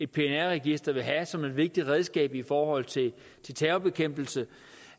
pnr register ville have som et vigtigt redskab i forhold til terrorbekæmpelsen